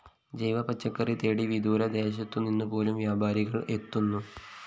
ജൈവ പച്ചക്കറി തേടി വിദൂരദേശത്തുനിന്നുപോലും വ്യാപാരികള്‍ എത്തുന്നു